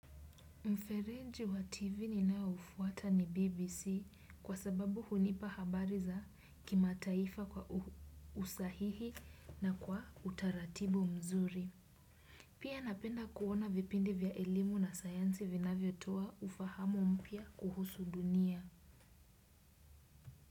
Mferenji wa TV ninaoufuata ni BBC kwa sababu hunipa habari za kimataifa kwa usahihi na kwa utaratibu mzuri. Pia napenda kuona vipindi vya elimu na sayansi vinavyo toa ufahamu mpya kuhusu dunia.